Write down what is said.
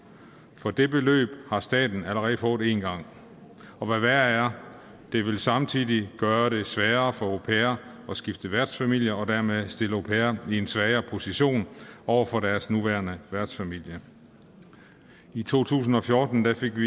for det beløb har staten allerede fået en gang og hvad værre er det vil samtidig gøre det sværere for au pairer at skifte værtsfamilie og dermed stille au pairer i en svagere position over for deres nuværende værtsfamilie i to tusind og fjorten fik vi